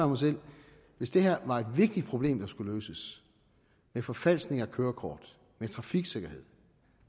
mig selv hvis det her var et vigtigt problem der skulle løses med forfalskning af kørekort med trafiksikkerhed